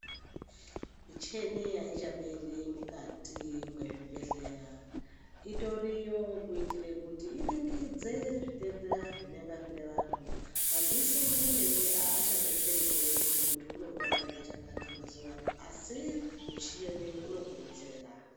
Michini aichaperi mukati mezvibhedhleya, itoriyo kuitira kuti iringidze zvitenda zvinonga zvine vanthu madziso emene aachadetseri kuona kuti munthu unorwara ngechakati mazuwano asi muchini unokuronzera.